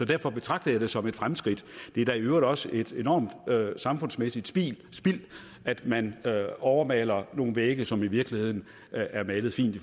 derfor betragter jeg det som et fremskridt det er da i øvrigt også et enormt samfundsmæssigt spild at man overmaler nogle vægge som i virkeligheden er malet fint